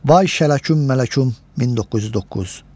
Vay Şələküm Mələküm 1909.